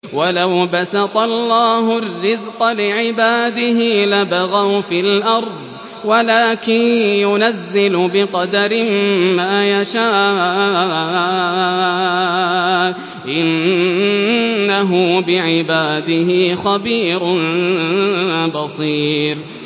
۞ وَلَوْ بَسَطَ اللَّهُ الرِّزْقَ لِعِبَادِهِ لَبَغَوْا فِي الْأَرْضِ وَلَٰكِن يُنَزِّلُ بِقَدَرٍ مَّا يَشَاءُ ۚ إِنَّهُ بِعِبَادِهِ خَبِيرٌ بَصِيرٌ